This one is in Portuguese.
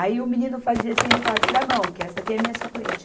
Aí o menino fazia assim, ele falava, tira a mão, que essa aqui é minha suplente.